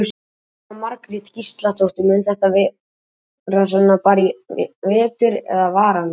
Jóhanna Margrét Gísladóttir: Mun þetta vera svona bara í vetur eða varanlega?